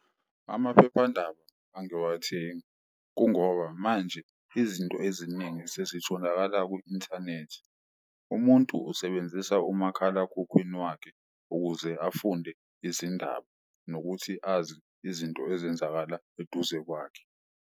Amaphephandaba angiwathengi kungoba manje izinto eziningi sezitholakala ku-inthanethi, umuntu usebenzisa umakhalakhukhwini wakhe ukuze afunde izindaba nokuthi azi izinto ezenzakala eduze kwakhe.